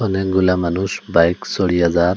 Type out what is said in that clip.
অনেকগুলা মানুষ বাইক সড়িয়া যার --